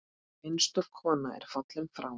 Einstök kona er fallin frá.